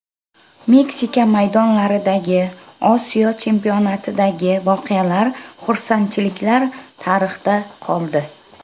Meksika maydonlaridagi, Osiyo chempionatidagi voqealar, xursandchiliklar tarixda qoldi.